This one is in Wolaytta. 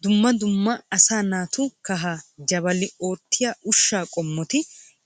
Dumma dumma asaa naatu kahaa jabalo oottiya ushshaa qommoti